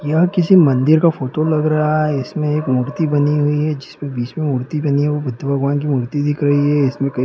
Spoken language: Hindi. यह किसी मंदिर का फोटो लग रहा है इसमे एक मूर्ति बनी हुई है जिस मे बीच मे मूर्ति बनी है वो बुद्ध भगवान की मूर्ति दिख रही है इसमे कई--